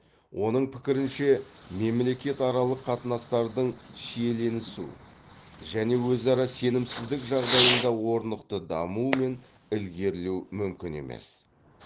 оның пікірінше мемлекетаралық қатынастардың шиеленісу және өзара сенімсіздік жағдайында орнықты даму мен ілгерілеу мүмкін емес